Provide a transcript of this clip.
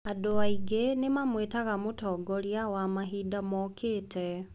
Andũ aingĩ nĩ maamwĩtaga mũtongoria wa mahinda mokĩte.